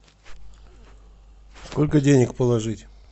сколько денег положить